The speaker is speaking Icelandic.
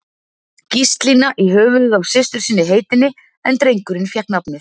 Gíslína í höfuðið á systur sinni heitinni, en drengurinn fékk nafnið